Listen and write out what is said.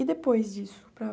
E depois disso?